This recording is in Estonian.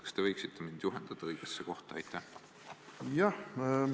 Kas te võiksite mind juhatada õigesse kohta?